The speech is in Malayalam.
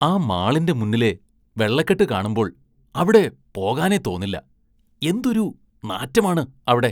ആ മാളിന്റെ മുന്നിലെ വെള്ളക്കെട്ട് കാണുമ്പോള്‍ അവിടെ പോകാനേ തോന്നില്ല, എന്തൊരു നാറ്റമാണ് അവിടെ.